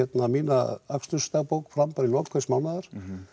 mína akstursdagbók fram í lok hvers mánaðar